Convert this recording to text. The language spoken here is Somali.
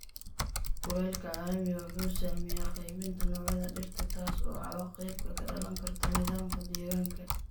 Kulaylka caalamiga ah wuxuu saameeyaa qaybinta noocyada dhirta, taas oo cawaaqibka ka dhalan karta nidaamka deegaanka.